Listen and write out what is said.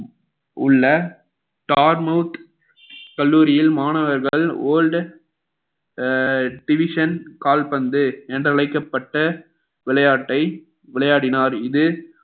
உள்ள கல்லூரியில் மாணவர்கள் old அஹ் division கால்பந்து என்று அழைக்கப்பட்ட விளையாட்டை விளையாடினார் இது